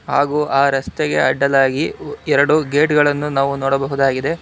ಹಾಗೂ ಆ ರಸ್ತೆಗೆ ಅಡ್ಡಲಾಗಿ ಉ ಎರಡು ಗೇಟ್ ಗಳನ್ನು ನಾವು ನೋಡಬಹುದಾಗಿದೆ.